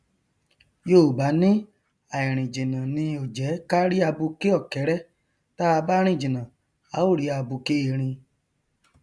yoòbá ní àìrìn jìnnà ni ò jẹ ká rí abuké ọkẹrẹ táa bá rìn jìnnà à ó rí abuké erin